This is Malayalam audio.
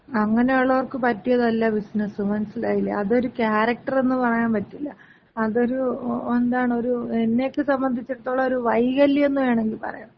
അങ്ങനൊള്ളവർക്ക് പറ്റിയതല്ല ബിസിനസ്. മനസ്സിലായില്ലേ? അതൊര് ക്യാരക്റ്ററെന്ന് പറയാമ്പറ്റില്ല. അതൊര് എന്താണ്, ഒര് എന്നെക്ക സംബന്ധിച്ചിടത്തോളം ഒരു വൈകല്യംന്ന് വേണെങ്കി പറയാം.